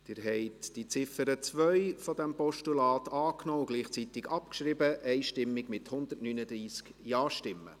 Sie haben die Ziffer 2 dieses Postulats angenommen und gleichzeitig abgeschrieben, und zwar einstimmig mit 139 Ja-Stimmen.